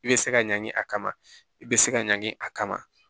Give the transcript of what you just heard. I bɛ se ka ɲanki a kama i bɛ se ka ɲangi a kama